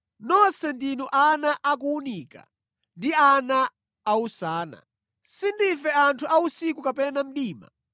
Nonse ndinu ana a kuwunika ndi ana a usana. Sindife anthu a usiku kapena mdima.